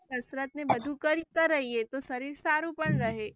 કસરત ને બધું કર્તા રહીયે તો શરીર સારું પણ રહે.